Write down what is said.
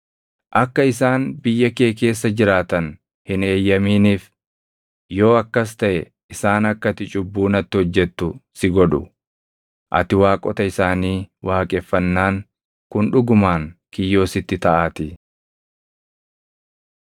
Akka isaan biyya kee keessa jiraatan hin eeyyamaniif; yoo akkas taʼe isaan akka ati cubbuu natti hojjettu si godhu; ati waaqota isaanii waaqeffannaan kun dhugumaan kiyyoo sitti taʼaatii.”